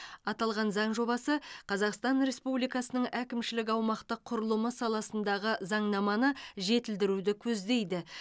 аталған заң жобасы қазақстан республикасының әкімшілік аумақтық құрылымы саласындағы заңнаманы жетілдіруді көздейді